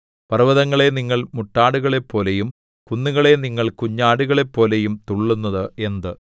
പർവ്വതങ്ങളേ നിങ്ങൾ മുട്ടാടുകളെപ്പോലെയും കുന്നുകളേ നിങ്ങൾ കുഞ്ഞാടുകളെപ്പോലെയും തുള്ളുന്നത് എന്ത്